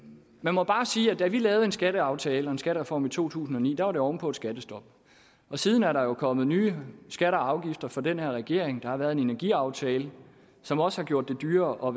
man må bare sige at da vi lavede en skatteaftale og en skattereform i to tusind og ni var det oven på et skattestop siden er der jo kommet nye skatter og afgifter fra den her regering der har været en energiaftale som også har gjort det dyrere at